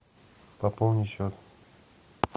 пополни счет